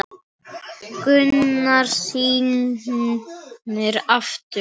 Gunnar snýr aftur.